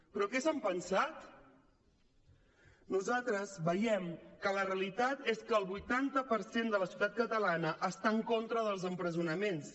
però què s’han pensat nosaltres veiem que la realitat és que el vuitanta per cent de la societat catalana està en contra dels empresonaments